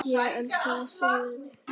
Ég sakna þess að vinna.